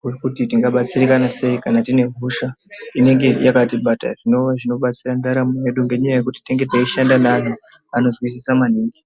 rwekuti tingabatsirikana sei kana tine hosha inenge yakatibata zvinova zvinobatsira ndaramo yedu ngenyaya yekuti tinonga teishanda neanhu anozwisisa maningi.